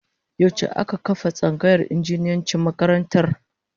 Yaushe aka kafa tsangayar injiniyancin makarantar?